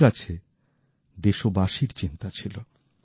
ওঁর কাছে দেশবাসীর চিন্তা ছিল